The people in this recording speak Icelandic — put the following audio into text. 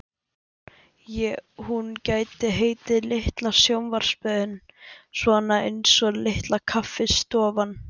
Hún gæti heitið Litla sjónvarpsstöðin, svona einsog Litla kaffistofan.